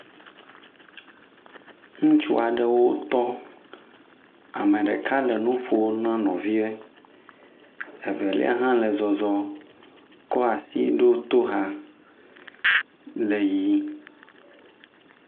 ŋutsuaɖewo tɔ ame ɖeka le nuƒom na nɔvia evelia hã le zɔzɔm koasi ɖó toxa le yiyim